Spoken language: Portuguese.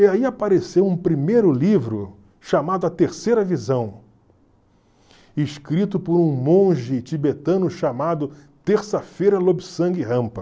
E aí apareceu um primeiro livro chamado A Terceira Visão, escrito por um monge tibetano chamado Terça-feira Lobsang Rampa.